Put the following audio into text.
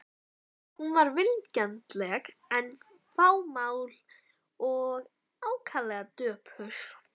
Hún var vingjarnleg en fámál og ákaflega döpur.